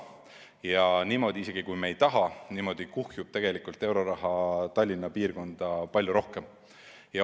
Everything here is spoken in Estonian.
Ja niimoodi, isegi kui me ei taha, kuhjub tegelikult euroraha Tallinna piirkonda palju rohkem.